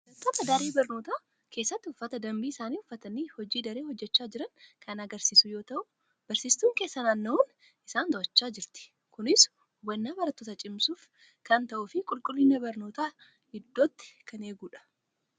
Barattoota daree barnootaa keessatti uffata dambii isaanii uffatanii hojii daree hojjechaa jiran kan agarsiisu yoo ta'u, barsiistuun keessa naanna'uun isaan to'achaa jirti. Kunis hubannaa barattootaa cimsuuf kan ta'uu fi qulqullina barnootaa iddootti kan eegudha.